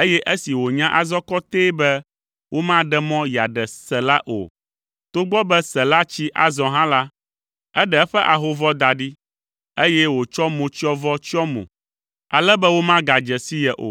eye esi wònya azɔ kɔtɛe be womaɖe mɔ yeaɖe Sela o, togbɔ be Sela tsi azɔ hã la, eɖe eƒe ahovɔ da ɖi, eye wòtsɔ motsyɔvɔ tsyɔ mo, ale be womagadze si ye o.